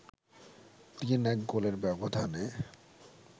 ৩-১ গোলের ব্যবধানে